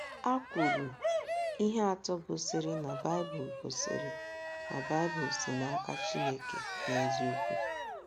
a kwuru ihe atọ gosiri na Baịbụl gosiri na Baịbụl si n’aka Chineke n’eziokwu.